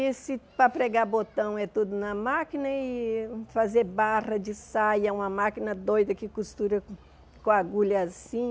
E se para pregar botão é tudo na máquina e fazer barra de saia, uma máquina doida que costura com agulha assim,